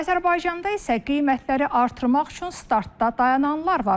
Azərbaycanda isə qiymətləri artırmaq üçün startda dayananlar var.